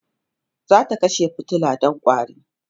zata kashe fitila Dan ƙwari